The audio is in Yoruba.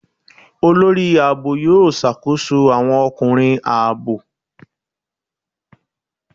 Olórí ààbò yóò ṣàkóso àwọn ọkùnrin ààbò.